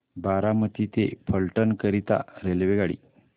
बारामती ते फलटण करीता रेल्वेगाडी